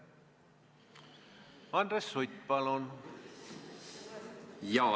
Andres Sutt, palun!